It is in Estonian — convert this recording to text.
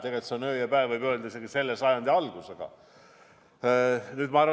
Tegelikult need on nagu öö ja päev isegi selle sajandi algusega võrreldes.